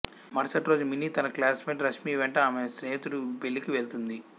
మరుసటి రోజు మినీ తన క్లాస్మేట్ రష్మి వెంట ఆమె స్నేహితుడి పెళ్ళికి వెళ్తుంది